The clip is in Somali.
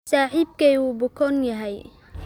Saaxiibkay wuu bukoon yahay.